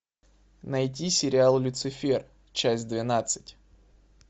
найти сериал люцифер часть двенадцать